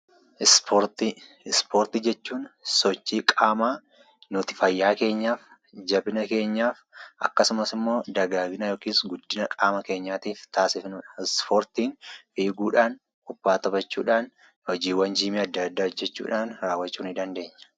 Ispoortii Ispoortii jechuun sochii qaamaa nuti fayyaa keenyaaf, jabina keenyaaf akkasumas immoo dagaagina (guddina) qaama keenyaatiif taasifnu dha. Ispoortiin eeguudhaan, kubbaa taphachuudhaan, hojiiwwan jiimii adda addaa hojjechuudhaan raawwachuu ni dandeenya.